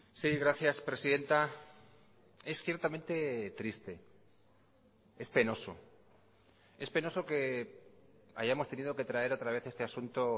sí gracias presidenta es ciertamente triste es penoso es penoso que hayamos tenido que traer otra vez este asunto